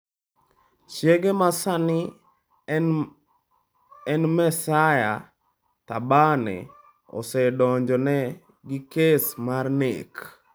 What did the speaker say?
Chiege ma sani en Maesaiah Thabane osedonjone gi kes mar nek.